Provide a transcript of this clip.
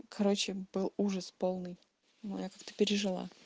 короче был ужас полный моя как ты пережил